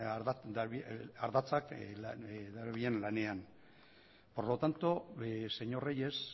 ardatzak darabilen lanean por lo tanto señor reyes